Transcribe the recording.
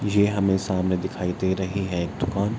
ये हमें सामने दिखाई दे रही है एक दुकान।